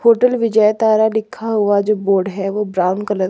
hotel Vijay Tara लिखा हुआ जो बोर्ड है वो ब्राउन कलर --